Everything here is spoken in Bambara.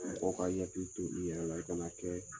Mɔgɔ ka i hakili to i yɛrɛ la i kana kɛ